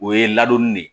O ye ladonni de ye